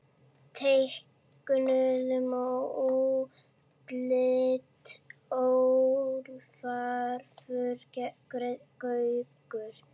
Teiknun og útlit Ólafur Gaukur.